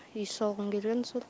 үй салғым келген сол